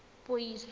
puiso